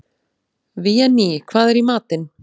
Véný, hvað er í matinn?